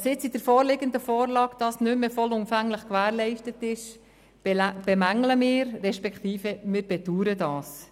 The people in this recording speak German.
Dass dies mit der vorliegenden Vorlage nicht mehr vollumfänglich gewährleistet ist, bemängeln wir, respektive wir bedauern das.